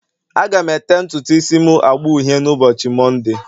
Aga m ete ntutu isi m agba uhie n'ụbọchị Mọnde